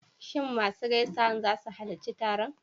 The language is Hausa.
Shin masu gaisawan za su halarci taron?